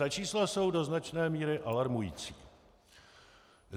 Ta čísla jsou do značné míry alarmující.